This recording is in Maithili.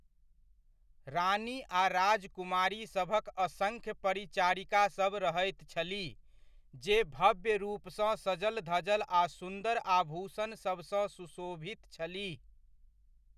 रानी आ राजकुमारीसभक असङ्ख्य परिचारिकासभ रहैत छलीह जे भव्य रूपसँ सजल धजल आ सुन्दर आभूषणसभसँ सुशोभित छलीह।